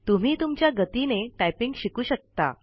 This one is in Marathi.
तुम्ही तुमच्या गतीने टाईपिंग शिकू शकता